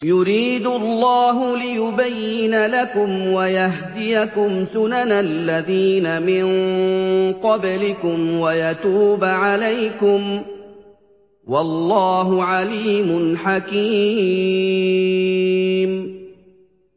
يُرِيدُ اللَّهُ لِيُبَيِّنَ لَكُمْ وَيَهْدِيَكُمْ سُنَنَ الَّذِينَ مِن قَبْلِكُمْ وَيَتُوبَ عَلَيْكُمْ ۗ وَاللَّهُ عَلِيمٌ حَكِيمٌ